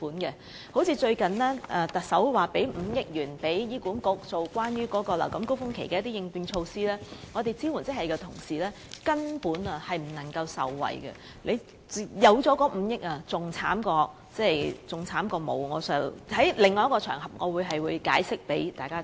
舉例而言，最近特首向醫管局撥款5億元，以推出流感高峰期的應變措施，但支援職系人員根本無法受惠，情況較沒有這5億元的撥款還要差，我會另覓場合向大家解釋原因。